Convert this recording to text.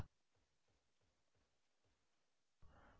यदि इसे एको करते हैं हम सोच सकते हैं कि क्या होगा